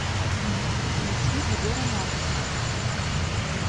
включи егора натса